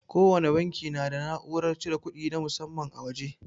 Kowana banki na da na'urar cire kudi na musamman a waje.